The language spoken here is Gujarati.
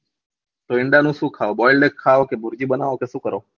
તો ઈંડા માં શું ખાઓ બોઈલડ ખાઓ કે ભુરજી બનાવો કે શું કરો